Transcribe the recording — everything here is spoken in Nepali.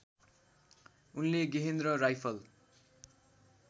उनले गेहेन्द्र राइफल